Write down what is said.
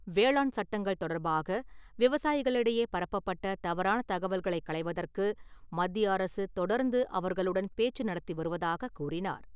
வேளாண் சட்டங்கள் தொடர்பாக, விவசாயிகளிடையே பரப்பப்பட்ட தவறான தகவல்கள் களைவதற்கு மத்திய அரசு தொடர்ந்து அவர்களுடன் பேச்சு நடத்தி வருவதாகக் கூறினார்.